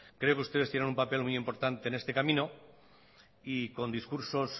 creo que ustedes tienen un papel muy importante en este camino y con discursos